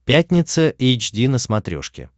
пятница эйч ди на смотрешке